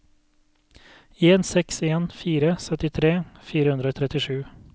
en seks en fire syttitre fire hundre og trettisju